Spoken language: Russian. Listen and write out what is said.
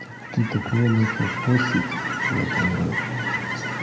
ты такое начал постить я даже это